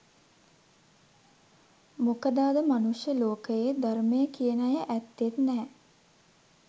මොකද අද මනුෂ්‍ය ලෝකයේ ධර්මය කියන අය ඇත්තෙත් නෑ.